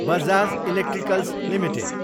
Bajaj electricals Ltd